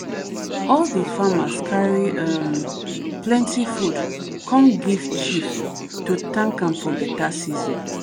all the farmer carry um plenty food come give chief to thank am for better season.